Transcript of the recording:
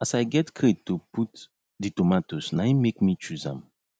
as i get crate to put the tomatoes nain make me chose am